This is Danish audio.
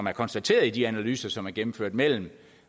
er konstateret i de analyser som er gennemført mellem